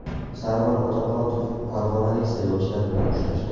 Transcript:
Sarvar Otamuratov farg‘onalik saylovchilar bilan uchrashdi.